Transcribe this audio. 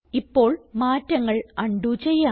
ഇപ്പോൾ മാറ്റങ്ങൾ ഉണ്ടോ ചെയ്യാം